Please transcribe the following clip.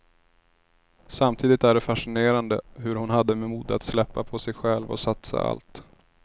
Samtidigt är det fascinerande hur hon hade mod att släppa på sig själv och satsa allt.